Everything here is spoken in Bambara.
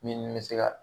Min bɛ se ka